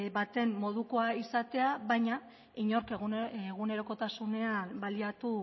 baten modukoa izatea baina inork egunerokotasunean baliatu